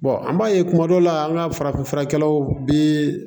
an b'a ye kuma dɔ la an ka farafinfurakɛlaw bi